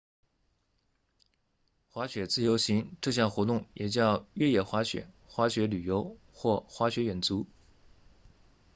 滑雪自由行这项活动也叫越野滑雪滑雪旅游或滑雪远足